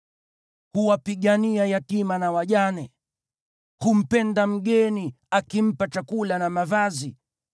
Huwapigania yatima na wajane, humpenda mgeni, akimpa chakula na mavazi.